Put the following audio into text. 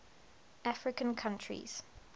african countries